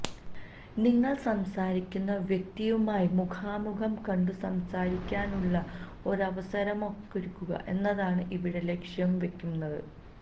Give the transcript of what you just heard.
നിങ്ങൾ സംസാരിക്കുന്ന വ്യക്തിയുമായി മുഖാമുഖം കണ്ടുസംസാരിക്കാനുള്ള ഒരവസരമൊരുക്കുക എന്നതാണ് ഇവിടെ ലക്ഷ്യം വെക്കുന്നത്